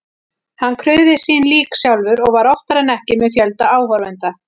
Hann krufði sín lík sjálfur og var oftar en ekki með fjölda áhorfenda.